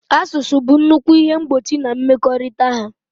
Asụsụ bụ nnukwu ihe mgbochi na mmekọrịta ha.